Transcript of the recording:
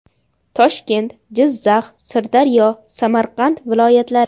Toshkent, Jizzax, Sirdaryo, Samarqand viloyatlari .